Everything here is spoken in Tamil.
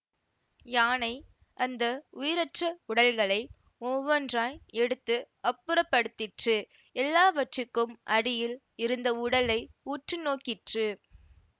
யானை அந்த உயிரற்ற உடல்களை ஒவ்வொன்றாய் எடுத்து அப்புறப்படுத்திற்று எல்லாவற்றுக்கும் அடியில் இருந்த உடலை உற்று நோக்கிற்று